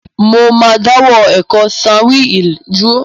Mo ma dáwọ́ ẹ̀kọ́ Swahili dúró